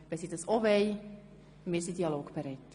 Wenn sie dies auch wollen – wir sind dialogbereit.